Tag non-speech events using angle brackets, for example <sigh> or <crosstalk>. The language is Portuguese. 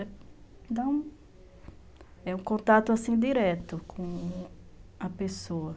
<unintelligible> é um contato direto com a pessoa.